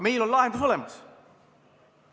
Meil on lahendus olemas.